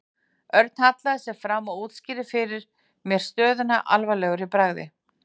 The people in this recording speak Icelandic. Örn hallaði sér fram og útskýrði fyrir mér stöðuna alvarlegur í bragði.